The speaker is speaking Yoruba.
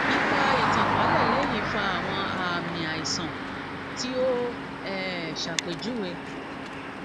ipa itankalẹ lẹhin fa awọn aami aisan ti o um ṣapejuwe